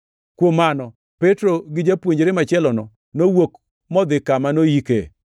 Kuom mano, Petro gi japuonjre machielono nowuok modhi kama noyike.